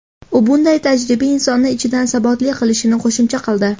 U bunday tajriba insonni ichidan sabotli qilishini qo‘shimcha qildi.